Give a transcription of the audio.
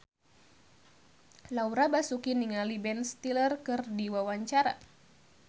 Laura Basuki olohok ningali Ben Stiller keur diwawancara